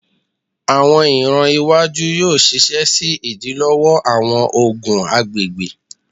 Awọn iran iwaju yoo ṣiṣẹ si idilọwọ awọn ogun agbegbe